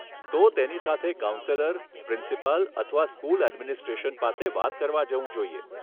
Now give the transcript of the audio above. તો તેની સાથે કાઉન્સેલર, પ્રિન્સિપાલ અથવા સ્કૂલ એડમિનિસ્ટ્રેશન પાસે વાત કરવા જવું જોઈએ.